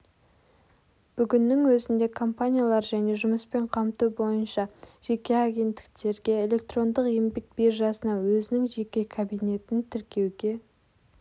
бүгіннің өзінде компаниялар және жұмыспен қамту бойынша жеке агенттіктерге электрондық еңбек биржасына өзінің жеке кабинетін тіркеуге